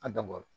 A dabɔra